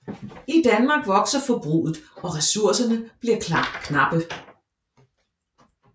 I Danmark vokser forbruget og ressourcerne bliver knappe